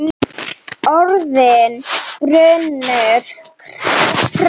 Orðin brunnu hratt.